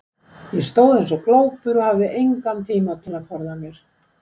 Ég stóð eins og glópur og hafði engan tíma til að forða mér.